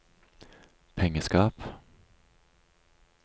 pengeskap